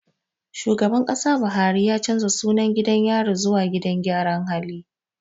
Shugaban Kasa Buhari ya canja sunan gidan yari zuwa gidan gyara hali